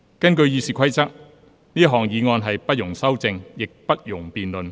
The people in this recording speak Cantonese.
根據《議事規則》，這項議案不容修正，亦不容辯論。